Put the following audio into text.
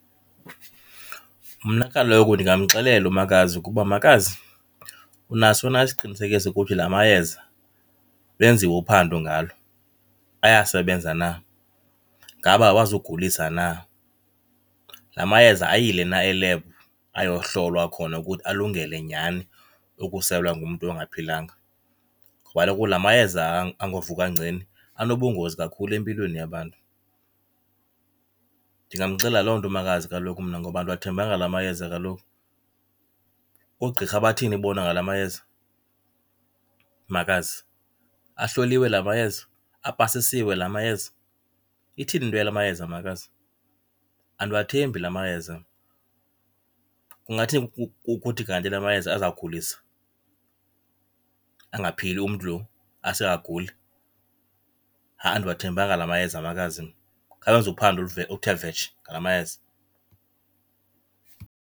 Mna kaloku ndingamxelela umakazi ukuba, makazi, unaso na isiqinisekiso ukuthi la mayeza lwenziwe uphando ngalo? Ayasebenza na, ngaba awazugulisa na? La mayeza ayile na elebhu ayohlolwa khona ukuthi alungele nyani ukuselwa ngumntu ongaphilanga? Ngoba kaloku la mayeza angovuka ngceni anobungozi kakhulu empilweni yabantu. Ndingamxelela loo nto umakazi kaloku mna ngoba andiwathembanga la mayeza kaloku. Oogqirha bathini bona ngala mayeza, makazi? Ahloliwe la mayeza? Apasisiwe la mayeza? Ithini into yala mayeza, makazi? Andiwathembi la mayeza mna. Kungathini kuthi kanti la mayeza azawugulisa, angaphili umntu lo ase agule? Ha-a andiwathembanga la mayeza makazi mna, khawenze uphando oluthe vetshe ngala mayeza.